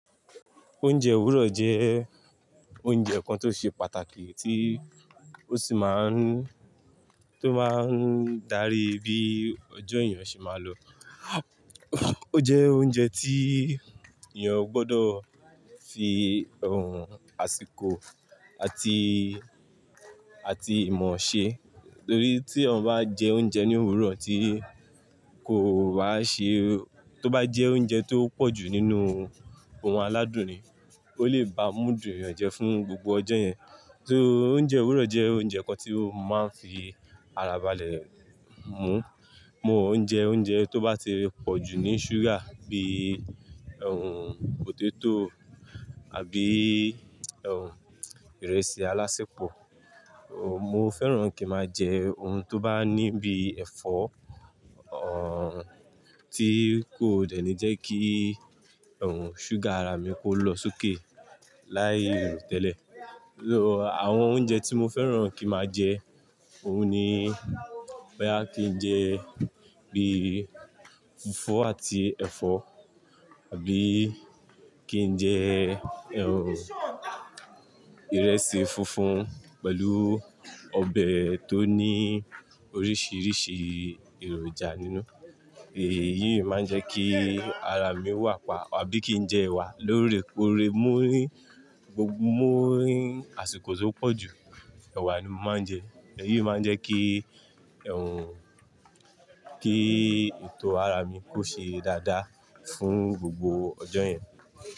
Oúnjẹ òwúrọ̀ jẹ́ oúnjẹ kan tó ṣe pàtàkì tí ó sì máa ń, tó máa ń darí bí ọjọ́ èèyàn ṣe máa lọ. Ó jẹ́ oúnjẹ tí èèyàn gbọdọ̀ fi ohun àsìkò àti, àti ìmọ̀ ṣe, torí tí eyan bá jẹ oúnjẹ ní òwúrọ̀ tí kò bá ṣe, tó bá jẹ oúnjẹ tó pọ̀jù nínú ohun aládùn ni, ó lè ba mood èèyàn jẹ fún gbogbo ọjọ́ yẹn. So oúnjẹ òwúrọ̀ jẹ́ oúnjẹ kan tí ó máa ń fi ara balẹ̀ mu. Mo óúnjẹ oúnjẹ tó bá ti pọ̀jù ní ṣúgà bíi potato àbí ìrẹsì alásẹpọ̀. Ohun, mo fẹ́ràn kí màá jẹ ohun tó bá ní bí ẹ̀fọ́, tí kò dẹ́nì jẹ́ kí ṣúgà ara mi kó lọ sókè láì ro tẹ́lẹ̀. So àwọn oúnjẹ tí mo fẹ́ràn kí màá jẹ, òun ni boyá kí n jẹ bí fùfú àti ẹ̀fọ́ àbí kí n jẹ ìrẹsì funfun pẹ̀lú ọbẹ̀ tó ní oríṣiríṣi èròjà nínú. Èyí máa jẹ́ kí ara mi wà pa àbí kí n jẹ ẹwà lórí epo rere mú rí, gbogbo mú rí àsìkò tí ó pọ̀jù, ẹwà ni mo máa ń jẹ. Èyí máa jẹ́ kí, kí ètò ara mi kó ṣe dáadáa fún gbogbo ọjọ́ yẹn.